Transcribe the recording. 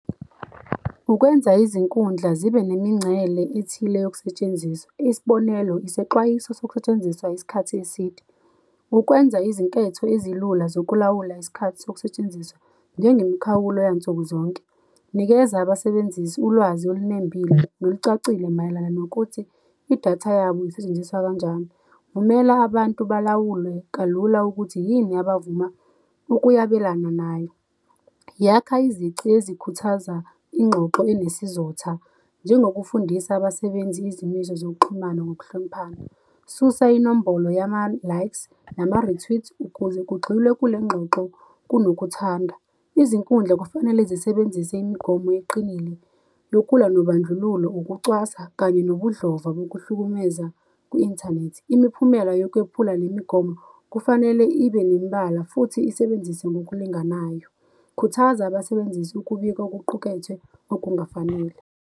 Ukwenza izinkundla zibe nemingcele ethile yokusetshenziswa, isibonelo, isexwayiso sokusetshenziswa isikhathi eside. Ukwenza izinketho ezilula zokulawula isikhathi sokusetshenziswa, njengemikhawulo yansuku zonke, nikeza abasebenzisi ulwazi olunembile nolucacile mayelana nokuthi idatha yabo isetshenziswa kanjani. Vumela abantu balawulwe kalula ukuthi yini yabo abavuma ukuyabelana nayo. Yakha izici ezikhuthaza ingxoxo enesizotha, njengokufundisa abasebenzi izimiso zokuxhumana ngokuhloniphana. Susa inombolo yama-likes, nama-retweet ukuze kugxilwe kulengxoxo, kunokuthandwa. Izinkundla kufanele zisebenzise imigomo eqinile yokulwa nobandlululo, ukucwaswa kanye nobudlava bokuhlukumeza kwi-inthanethi. Imiphumela yokwephula le migomo kufanele ibe nemibala futhi isebenzise ngokulinganayo. Khuthaza abasebenzisi ukubika okuqukethwe okungafanele.